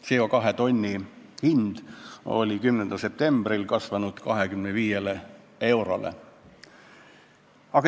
CO2 kvoodi hind oli 10. septembriks kasvanud 25 eurole.